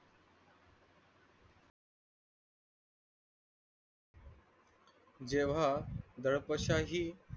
जेव्हा दळपाशाही